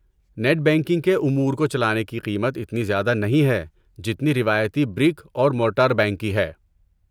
Net banking کے امور کو چلانے کی قیمت اتنی زیادہ نہیں ہے جتنی روایتی برک اور مورٹر بینک کی ہے۔